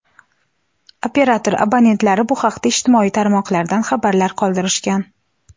Operator abonentlari bu haqda ijtimoiy tarmoqlarda xabarlar qoldirishgan.